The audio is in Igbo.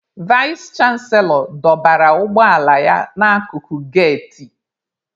Vais chanselọ dọbara ụgbọ ala ya n'akụkụ geti.